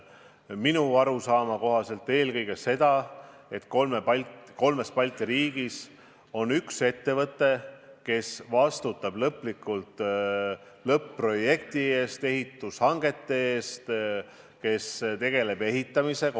Minu arusaama kohaselt tähendab see eelkõige seda, et kolmes Balti riigis on üks ettevõte, mis vastutab lõplikult lõpp-projekti eest, ehitushangete eest, tegeleb ehitamisega.